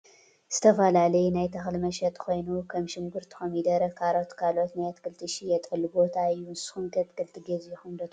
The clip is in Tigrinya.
ዝተፈላለዩ ናይ ተክሊ መሸጢ ኮይኑ ከም ሽኩርቲን ኮሚደረን፣ ካሮትን ካልኦት ናይ ኣትክልትን ዝሽየጠሉ ቦታ እዩ። ንስኩም ከ ኣትክልቲ ገዚኢኩም ትፈልጡ ዶ ?